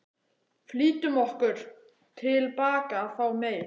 Flýttum okkur tilbaka að fá meir.